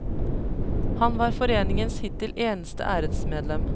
Han var foreningens hittil eneste æresmedlem.